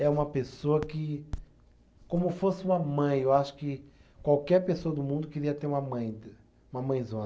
É uma pessoa que, como fosse uma mãe, eu acho que qualquer pessoa do mundo queria ter uma mãe, uma mãezona.